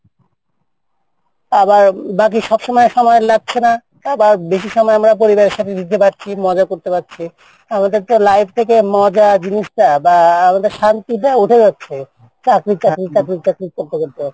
আর সব সময় বাইরে থাকতে হচ্ছেনা বাঁ বেশি সময় পরিবারের সাথে থাকছি মজা পাচ্ছি আমাদের তো life থেকে মজা জিনিসটা